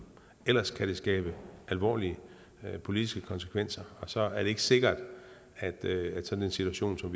ellers kan det skabe alvorlige politiske konsekvenser og så er det ikke sikkert at at sådan en situation som